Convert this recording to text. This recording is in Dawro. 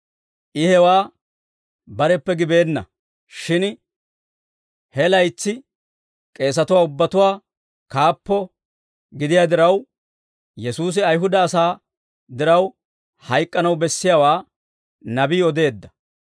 I hewaa bareppe gibeenna; shin he laytsi k'eesatuwaa ubbatuwaa kaappo gidiyaa diraw, Yesuusi Ayihuda asaa diraw hayk'k'anaw bessiyaawaa Nabii odeedda.